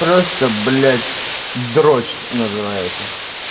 просто блять дрочь называется